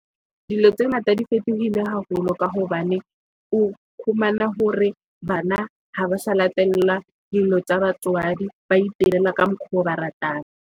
vDilo tse ngata di fetohile haholo ka hobane o fumane hore bana ha ba sa latella dilo tsa batswadi, ba itirela ka mokgo ba ratang.